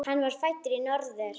Hann var fæddur í Norður